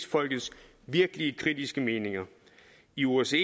folks virkelig kritiske meninger i osce